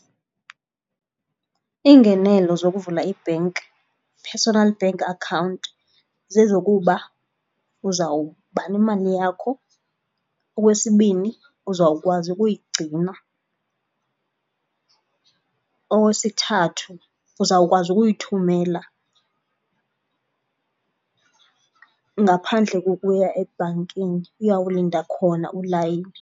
Iingenelo zokuvula i-bank, personnel bank account, zezokuba uzawuba nemali yakho. Okwesibini, uzawukwazi ukuyigcina. Okwesithathu, uzawukwazi ukuyithumela ngaphandle kokuya ebhankini uyawulinda khona ulayini.